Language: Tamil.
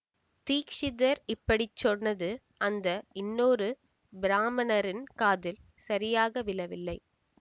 தீக்ஷிதர் இப்படி சொன்னது அந்த இன்னொரு பிராம்மணரின் காதில் சரியாக விழவில்லை